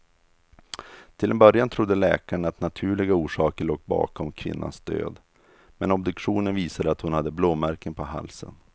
Till en början trodde läkarna att naturliga orsaker låg bakom kvinnans död, men obduktionen visade att hon hade blåmärken på halsen.